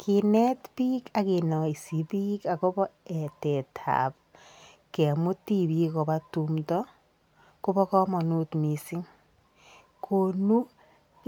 Kinet bik ak kinaisi bik agobo etetab kemut tibik koba tumdo, kobakamanut mising. Konu